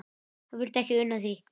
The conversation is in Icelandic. Hann vildi ekki una því.